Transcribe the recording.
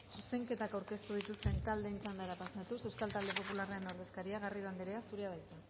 rodríguez jauna zuzenketak aurkeztu dituzten taldeen txandara pasatuz euskal talde popularraren ordezkaria garrido anderea zurea da hitza